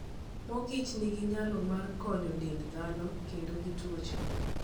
Mor kich nigi nyalo mar konyo dend dhano kedo gi tuoche.